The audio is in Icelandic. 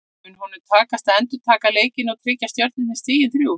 Mun honum takast að endurtaka leikinn og tryggja Stjörnunni stigin þrjú?